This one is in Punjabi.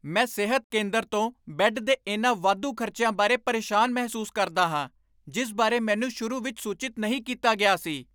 ਮੈਂ ਸਿਹਤ ਕੇਂਦਰ ਤੋਂ ਬੈੱਡ ਦੇ ਇਹਨਾਂ ਵਾਧੂ ਖ਼ਰਚਿਆਂ ਬਾਰੇ ਪਰੇਸ਼ਾਨ ਮਹਿਸੂਸ ਕਰਦਾ ਹਾਂ ਜਿਸ ਬਾਰੇ ਮੈਨੂੰ ਸ਼ੁਰੂ ਵਿੱਚ ਸੂਚਿਤ ਨਹੀਂ ਕੀਤਾ ਗਿਆ ਸੀ।